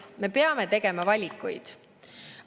Me peame tegema valikuid.